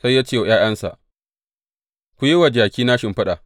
Sai ya ce wa ’ya’yansa, Ku yi wa jakina shimfiɗa.